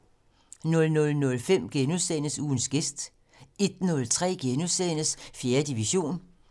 00:05: Ugens gæst * 01:03: 4. division * 05:03: Klog på Sprog *